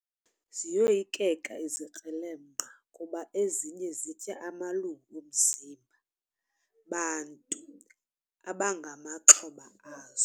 Ziyoyikeka izikrelemnqa kuba ezinye zitya amalungu omzimba bantu abangamaxhoba azo.